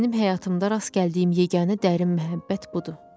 Mənim həyatımda rast gəldiyim yeganə dərin məhəbbət budur.